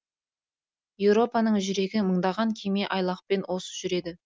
еуропаның жүрегі мыңдаған кеме айлақпен осы жүреді